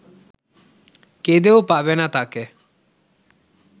কেঁদেও পাবে না তাকে